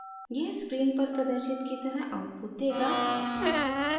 यह स्क्रीन पर प्रदर्शित की तरह आउटपुट देगा